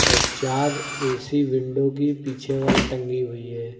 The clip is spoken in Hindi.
चार ए_सी विंडो की पीछे वाल टंगी हुई है।